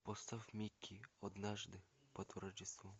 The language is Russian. поставь микки однажды под рождество